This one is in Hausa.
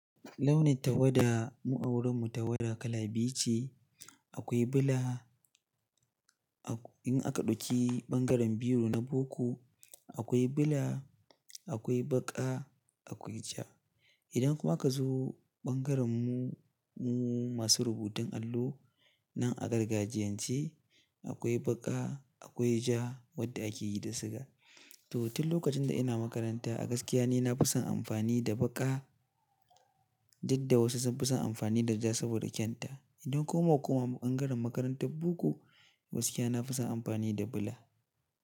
Launin tawada, mu a wurin mu tawada kala biyu ce. Akwai bula, in aka ɗauki ɓangaren biyun na boko, akwai bula, akwai baƙa, akwai ja. Idan kuma aka zo ɓangaren mu-mu masu rubutun allo nan agargajiyance, akwai baƙa, akwai ja wadda ake yi da suga. Toh tun lokacin da ina makaranta a gaskiya ni na fi son amfani da baƙa, duk da wasu sun fi son amfani da ja saboda kyan ta. Idan kuma aka koma ɓangaren makarantar boko, gaskiya na fi son amfani da bula.